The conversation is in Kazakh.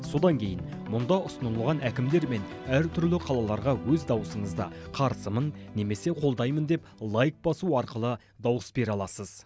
содан кейін мұнда ұсынылған әкімдер мен әртүрлі қалаларға өз дауысыңызды қарсымын немесе қолдаймын деп лайк басу арқылы дауыс бере аласыз